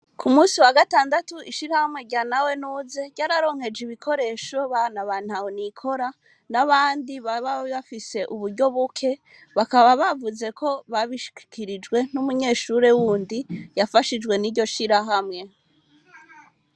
Ku munsi wa gatandatu ishirahamwe rya nawe nuze ryararonkeje ibikoresho abana ba ntaho nikora n'abandi baba bafise uburyo buke bakaba bavuze ko babushikirijwe n'umunyeshuri wundi yafashijwe niryo shirahamwe.